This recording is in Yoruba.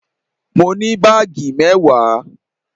Mo ní baagi mewaa?